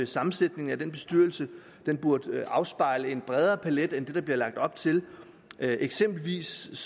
sammensætningen af bestyrelsen den burde afspejle en bredere palet end det der bliver lagt op til eksempelvis